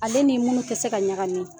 Ale ni munun tɛ se ka ɲagami.